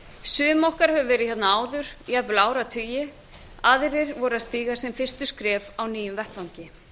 sum okkar höfðu verið hér áður jafnvel áratugi aðrir voru að stíga sín fyrstu skref á nýjum vettvangi